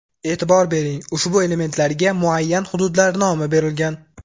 E’tibor bering – ushbu elementlarga muayyan hududlar nomi berilgan.